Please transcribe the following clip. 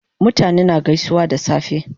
Mutane na gaisuwa da safe